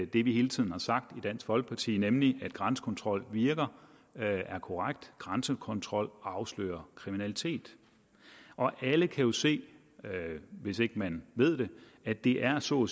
det vi hele tiden har sagt i dansk folkeparti nemlig at grænsekontrol virker er korrekt grænsekontrol afslører kriminalitet alle kan jo se hvis ikke man ved det at det er så